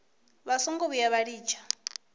vha songo vhuya vha litsha